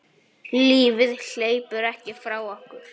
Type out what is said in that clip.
Lífið hleypur ekki frá okkur.